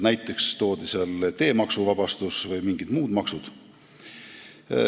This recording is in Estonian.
Näiteks toodi vabastus teemaksust ja mingitest muudest maksudest.